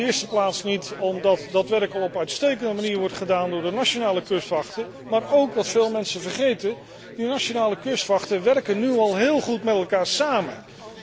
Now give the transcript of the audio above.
In de eerste plaats niet omdat dat werk al op een uitstekende manier wordt gedaan door de nationale kustwachten, maar ook wat veel mensen vergeten omdat de nationale kustwachten nu al heel goed met elkaar samenwerken.